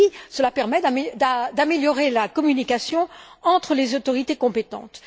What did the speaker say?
Cela permettra ainsi d'améliorer la communication entres les autorités compétentes.